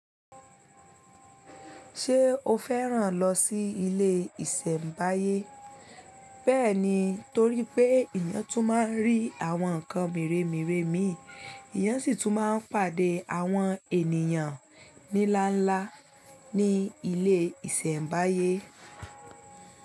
Ṣé o fẹ́ràn lọ sí ilé ìṣẹ̀mbáyé? Bẹ́ẹ̀ni, torí pé ìyẹn tún máa ń rí àwọn nǹkan mèremère mìí, ìyẹn sì tún máa ń pàdé àwọn ènìyàn ní ńlá ńlá ní ilé ìṣẹ̀mbáyé.